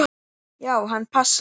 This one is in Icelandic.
Já, hann passar.